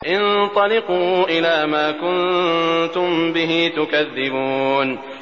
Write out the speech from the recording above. انطَلِقُوا إِلَىٰ مَا كُنتُم بِهِ تُكَذِّبُونَ